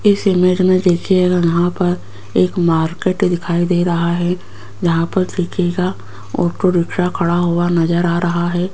इस इमेज में देखिएगा यहां पर एक मार्केट दिखाई दे रहा है जहां पर देखिएगा ऑटो रिक्शा खड़ा हुआ नजर आ रहा है।